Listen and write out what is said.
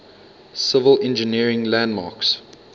civil engineering landmarks